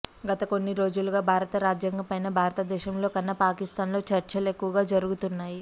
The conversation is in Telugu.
గత కొన్ని రోజులుగా భారత రాజ్యాంగంపైన భారతదేశంలోకన్నా పాకిస్థాన్ లో చర్చలు ఎక్కువగా జరుగుతున్నాయి